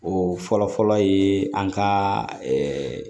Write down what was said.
O fɔlɔfɔlɔ ye an ka